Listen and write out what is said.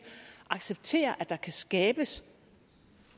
acceptere at der kan skabes